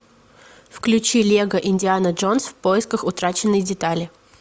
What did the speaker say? включи лего индиана джонс в поисках утраченной детали